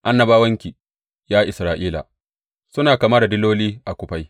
Annabawanki, ya Isra’ila, suna kama da diloli a kufai.